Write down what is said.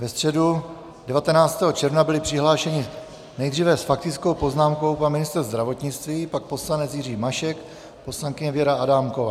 Ve středu 19. června byli přihlášeni nejdříve s faktickou poznámkou pan ministr zdravotnictví, pak poslanec Jiří Mašek, poslankyně Věra Adámková.